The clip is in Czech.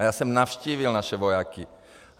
A já jsem navštívil naše vojáky.